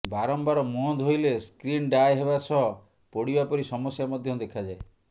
ବାରମ୍ୱାର ମୁହଁ ଧୋଇଲେ ସ୍କିନ ଡ୍ରାଏ ହେବା ସହ ପୋଡିବା ପରି ସମସ୍ୟା ମଧ୍ୟ ଦେଖାଯାଏ